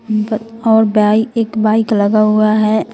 ब और बाइ एक बाइक लगा हुआ है।